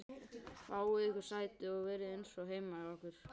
Fáið ykkur sæti og verið eins og heima hjá ykkur!